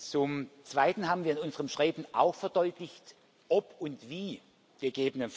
Zum Zweiten haben wir in unserem Schreiben auch verdeutlicht, ob und wie ggf.